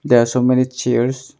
There are so many chairs.